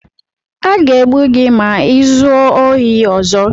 A ga-egbu gị ma i zuo ohi ọzọ!